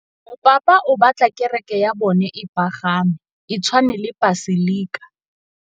Mopapa o batla kereke ya bone e pagame, e tshwane le paselika.